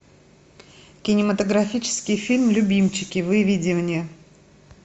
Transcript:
кинематографический фильм любимчики выведи мне